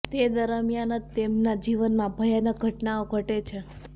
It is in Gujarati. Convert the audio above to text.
તે દરમિયાન જ તેમના જીવનમાં ભયાનક ઘટનાઓ ઘટે છે